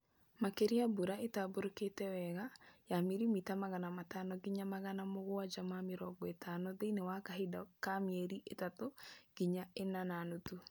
Makeria mbura ĩtambũrũkite wega ya milimita magana matano nginya magana mũgwanja ma mĩrongo ĩtano thĩini wa kahinda ka mieli itatũ nginya ĩna na nuthu